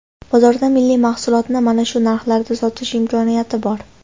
Bozorda milliy mahsulotni mana shu narxlarda sotish imkoniyati bor.